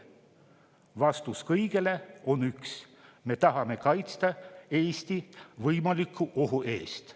Vastus kõigele on üks: me tahame kaitsta Eestit võimaliku ohu eest.